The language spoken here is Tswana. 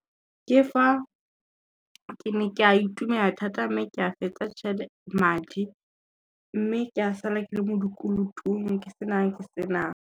Ke fa ke ne ka itumela thata mme ke a fetsa madi, mme ke a sala ke le mo dikolotong ke senang, ke senang.